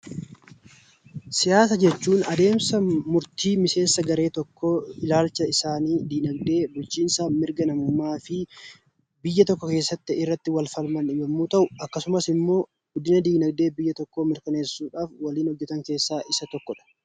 Siyaasa jechuun adeemsa murtii miseensa garee tokkoo, ilaalcha isaanii, dinaagdee, bulchiinsa fi mirga namummaa fi biyya tokko keessatti irratti wal falman yemmuu ta'u, akkasumas immoo guddina dinaagdee biyya tokkoo mirkaneessuudhaaf waliin hojjetan keessaa isa tokkodha.